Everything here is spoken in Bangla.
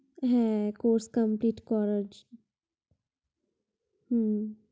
হ্যাঁ course complete করাচ্ছি। হু